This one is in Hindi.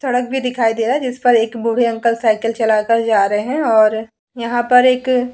सड़क भी दिखाई दे रहा है जिस पर एक बूढ़े अंकल साइकिल चला कर जा रहे है और यहाँ पर एक --